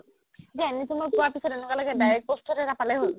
NHM পোৱাৰ পিছত এনোকুৱা লাগে direct post এটা পালে হ'ল